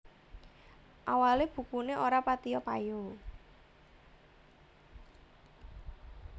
Awalé bukuné ora patiyo payu